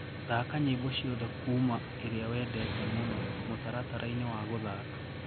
thaka nyĩmbo cĩothe kũma ĩrĩa wendete mũno mũtarataraini wa guthaka